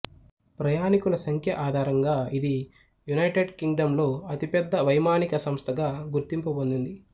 ప్రయాణికుల సంఖ్య ఆధారంగా ఇది యునైటెడ్ కింగ్ డమ్ లో అతి పెద్ద వైమానిక సంస్థగా గుర్తింపు పొందింది